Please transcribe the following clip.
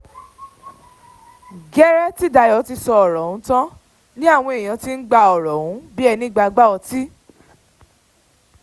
gẹ́rẹ́ tí dayo ti sọ̀rọ̀ yìí tán ni àwọn èèyàn ti ń gba ọ̀rọ̀ ọ̀hún bíi ẹni gba igbá ọtí